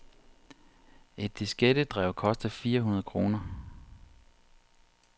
Et diskettedrev koster fire hundrede kroner.